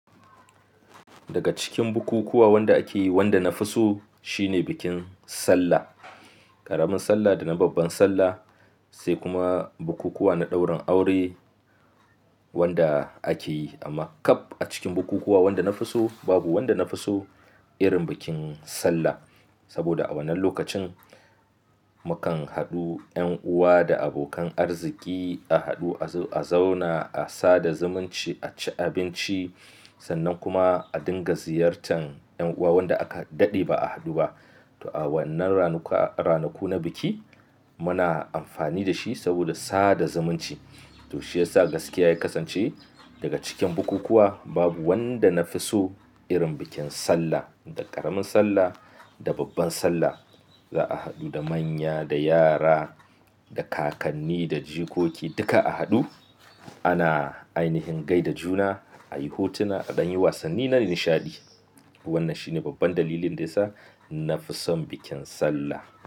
Daga cikin bukukuwa wanda ake yi, wanda na fi so shine bikin sallah. Ƙaramin sallah da na babban sallah sai kuma bukukuwa na ɗaurin aure wanda ake yi. Amma kab a cikin bukukuwa wanda na fi so, babu wanda na fi so irin bikin sallah. Saboda a wannan lokacin mu kan haɗu 'yan uwa da abokan arziki a haɗu, a zo a zauna, a sada zumunci, a ci abinci sannan kuma a dinga ziyartan 'yan uwa wanda aka daɗe ba a haɗu ba. Toh a wannan ranaku na biki muna amfani da shi saboda sada zumunci. Toh shiyasa gaskiya ya kasance daga cikin bukukuwa babu wanda na fi so irin bikin sallah. Da ƙaramin sallah, da babban sallah za a haɗu da manya, da yara, da kakanni, da jikoki duka a haɗu. Ana ainihin gaida juna, a yi hotuna, aɗan yi wasanni na nishaɗi. Wannan shine babban dalilin da yasa na fi son bikin sallah.